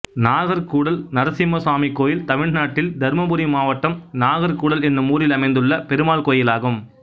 நாகர் கூடல் நரசிம்மசாமி கோயில் தமிழ்நாட்டில் தர்மபுரி மாவட்டம் நாகர் கூடல் என்னும் ஊரில் அமைந்துள்ள பெருமாள் கோயிலாகும்